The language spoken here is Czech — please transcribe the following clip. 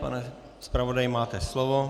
Pane zpravodaji, máte slovo.